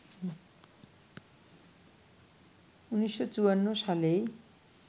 ১৯৫৪ সালেই